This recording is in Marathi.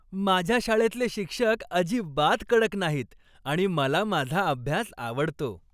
माझ्या शाळेतले शिक्षक अजिबात कडक नाहीत आणि मला माझा अभ्यास आवडतो.